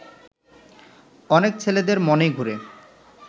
অনেক ছেলেদের মনেই ঘুরে